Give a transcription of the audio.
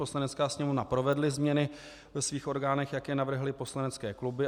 Poslanecká sněmovna provedla změny ve svých orgánech, jak je navrhly poslanecké kluby.